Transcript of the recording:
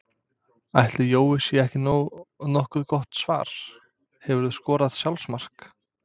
Ætli Jói sé ekki nokkuð gott svar Hefurðu skorað sjálfsmark?